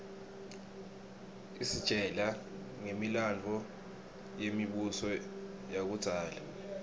isitjela ngemilandvo yemibuso yakudzala